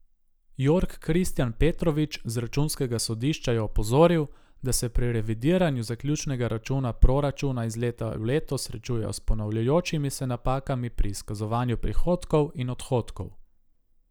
Jorg Kristjan Petrovič z računskega sodišča je opozoril, da se pri revidiranju zaključnega računa proračuna iz leta v leto srečujejo s ponavljajočimi se napakami pri izkazovanju prihodkov in odhodkov.